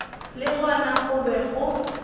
le gona go be go